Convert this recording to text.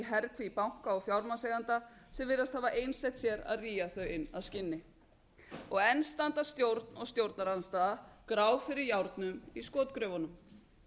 herkví banka og fjármagnseigenda sem virðast hafa einsett sér að rýja þau inn að skinni enn standa stjórn og stjórnarandstaða grá fyrir járnum í skotgröfunum